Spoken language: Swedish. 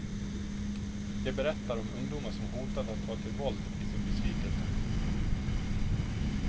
De berättar om ungdomar som hotat att ta till våld i sin besvikelse.